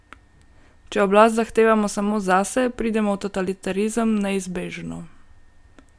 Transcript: Če oblast zahtevamo samo zase, pridemo v totalitarizem, neizbežno.